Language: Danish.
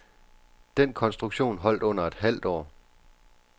Den konstruktion holdt under et halvt år.